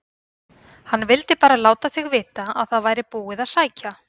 HANN VILDI BARA LÁTA ÞIG VITA AÐ ÞAÐ VÆRI BÚIÐ AÐ SÆKJA